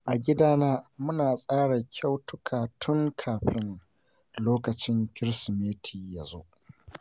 A gidana muna tsara kyautuka tun kafin lokacin Kirsimeti yazo.